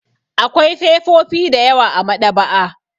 Akwai fefofi da yawa a maɗaba'a.